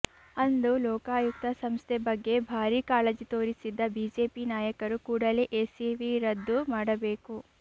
ಅಂದು ಲೋಕಾಯುಕ್ತ ಸಂಸ್ಥೆ ಬಗ್ಗೆ ಭಾರಿ ಕಾಳಜಿ ತೋರಿಸಿದ್ದ ಬಿಜೆಪಿ ನಾಯಕರು ಕೂಡಲೇ ಎಸಿವಿ ರದ್ದು ಮಾಡಬೇಕು